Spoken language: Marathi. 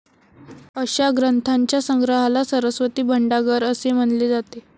अशा ग्रंथांच्या संग्रहाला सरस्वती भंडागर असे म्हणले जाते.